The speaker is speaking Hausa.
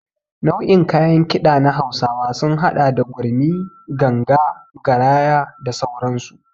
Nau'in kayan Kiɗa na hausawa sun hada da gurmi, ganga, garaya da sauransu.